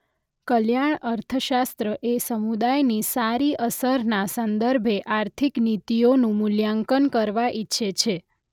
કલ્યાણ અર્થશાસ્ત્ર એ સમુદાયની સારી અસરના સંદર્ભે આર્થિક નીતિઓનું મૂલ્યાંકન કરવા ઈચ્છે છે.